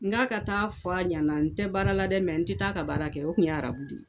N k'a ka taa fɔ a ɲɛna n tɛ baara la dɛ n tɛ taa a ka baara kɛ o tun ye arab de ye